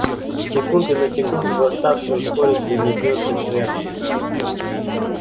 с секунды на секунду восставший ускорится и метнётся к жертве